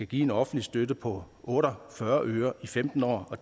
give offentlig støtte på otte og fyrre øre i femten år